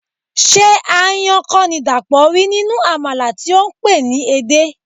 Ṣé aáyán kọ́ ni Dàpọ̀ rí nínú àmàlà tí ó pè é ní edé?